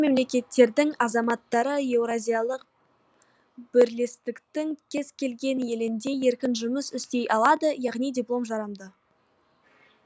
мемлекеттердің азаматтары еуразиялық бірлестіктің кез келген елінде еркін жұмыс істей алады яғни диплом жарамды